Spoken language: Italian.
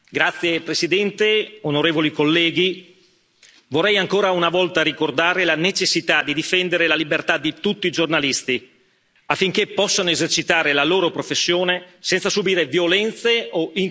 Signora Presidente, onorevoli colleghi, vorrei ancora una volta ricordare la necessità di difendere la libertà di tutti i giornalisti, affinché possano esercitare la loro professione senza subire violenze o intimidazioni.